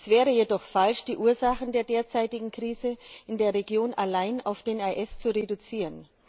Es wäre jedoch falsch, die Ursachen der derzeitigen Krise in der Region allein auf den IS zu reduzieren.